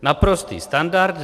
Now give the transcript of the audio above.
Naprostý standard.